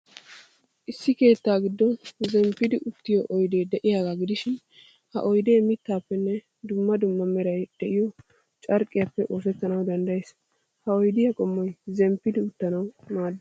Issi keettaa giddon zemppidi uttiyoo oydee de'iyaagaa gidishin, ha oydee mittaappenne dumma dumma meray de'iyoo carqqiyaappe oosettanawu danddayees. Ha oydiyaa qommoy zemppidi uttanawu maaddees.